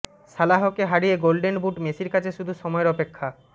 সালাহকে হারিয়ে golden boot মেসির কাছে শুধু সময়ের অপেক্ষা